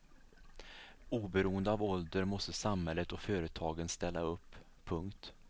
Oberoende av ålder måste samhället och företagen ställa upp. punkt